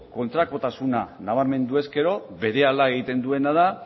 kontrakotasuna nabarmendu ezkero berehala egiten duena da